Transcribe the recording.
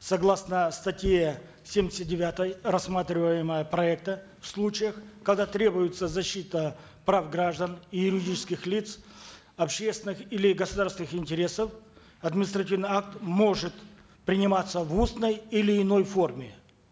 согласно статье семьдесят девятой рассматриваемого проекта в случаях когда требуется защита прав граждан и юридических лиц общественных или государственных интересов административный акт может приниматься в устной или иной форме